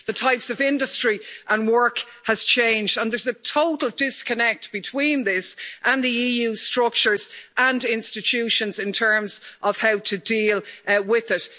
the types of industry and work have changed, and there's a total disconnect between this and the EU structures and institutions in terms of how to deal with it.